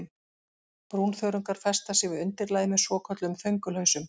Brúnþörungar festa sig við undirlagið með svokölluðum þöngulhausum.